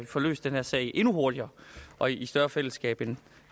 få løst den her sag endnu hurtigere og i større fællesskab end